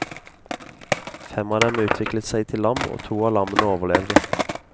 Fem av dem utviklet seg til lam, og to av lammene overlevde.